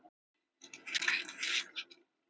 Apríl alls ekki svo kaldur